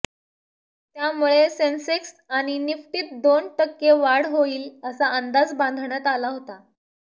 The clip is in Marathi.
त्यामुळे सेन्सेक्स आणि निफ्टीत दोन टक्के वाढ होईल असा अंदाज बांधण्यात आला होता